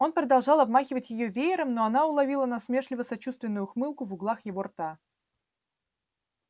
он продолжал обмахивать её веером но она уловила насмешливо-сочувственную ухмылку в углах его рта